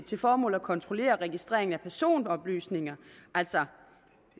til formål at kontrollere registrering af personoplysninger altså